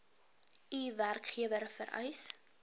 u werkgewer vereis